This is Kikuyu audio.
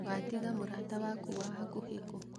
watiga mũrata waku wa hakuhĩ kũ?